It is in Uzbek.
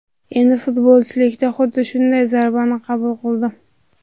Endi futbolchilikda xuddi shunday zarbani qabul qildim.